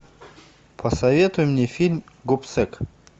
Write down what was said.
посоветуй мне фильм гобсек